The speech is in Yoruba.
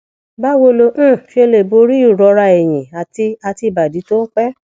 báwo lo um ṣe lè borí ìrora ẹyìn àti àti ibadi tó ń pẹ